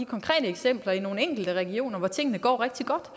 konkrete eksempler i nogle enkelte regioner hvor tingene går rigtig godt